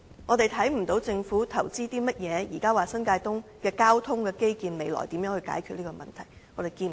我們看不到政府投資了甚麼，以便將來在新界東的交通基建方面解決問題，我們看不到。